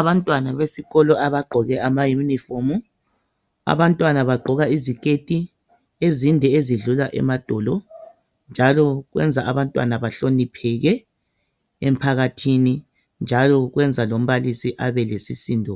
Abantwana besikolo abagqoke amayunifomu. Abantwana bagqoka iziketi ezinde ezidlula emadolo njalo benza abantwana bahlonipheke emphakathini njalo kwenza lombalisi abe lesisindo